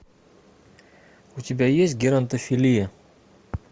у тебя есть геронтофилия